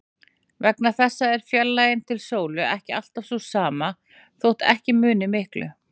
Vegna þessa er fjarlægðin til sólu ekki alltaf sú sama, þótt ekki muni miklu.